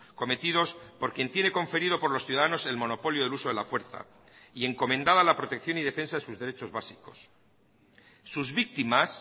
cometidos por quien tiene conferido por los ciudadanos el monopolio del uso de la fuerza y encomendada la protección y defensa de sus derechos básicos sus víctimas